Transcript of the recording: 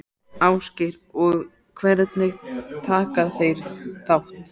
Ásgeir: Og hvernig taka þeir þátt?